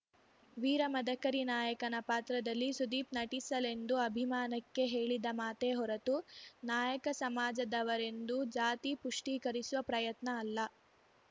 ವೀರ ಮದಕರಿ ನಾಯಕನ ಪಾತ್ರದಲ್ಲಿ ಸುದೀಪ್‌ ನಟಿಸಲೆಂದು ಅಭಿಮಾನಕ್ಕೆ ಹೇಳಿದ ಮಾತೇ ಹೊರತು ನಾಯಕ ಸಮಾಜದವರೆಂದು ಜಾತಿ ಪುಷ್ಟೀಕರಿಸುವ ಪ್ರಯತ್ನ ಅಲ್ಲ